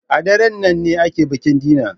A daren nan ne ake bikin dinner.